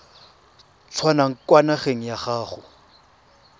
tswang kwa ngakeng ya gago